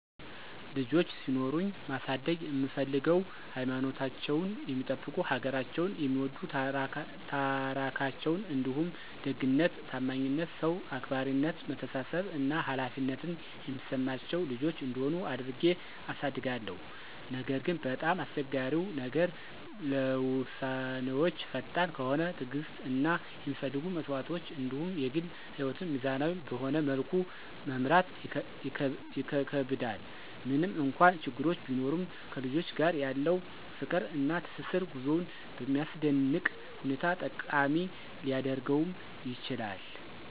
ልጆች ሲኖሩኝ ማሳደግ እምፍልገው ሀይማኖታቸውን የሚጠብቁ፣ ሀገራቸውን የሚወድ፣ ታራካቸዉን እንዲሁም ደግነት፣ ታማኝነት፣ ሰዉ አክባራነት፣ መተሳሰብ እና ኃላፊነትን የሚሰማቸው ልጆች እንዲሆኑ አድርጌ አሳድጋለሁ። ነገር ግን፣ በጣም አስቸጋሪው ነገር ለዉሳነወች ፈጣን ከሆነ፣ ትዕግስት እና የሚፈለጉ መስዋዕቶች እንዲሁም የግል ህይወትን ሚዛናዊ በሆነ መልኩ መምራት ይከከብዳል። ምንም እንኳን ችግሮች ቢኖሩም ከልጆች ጋር ያለው ፍቅር እና ትስስር ጉዞውን በሚያስደንቅ ሁኔታ ጠቃሚ ሊያደርገውም ይችላል።